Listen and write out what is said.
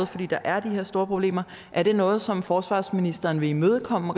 fordi der er de her store problemer er det noget som forsvarsministeren vil imødekomme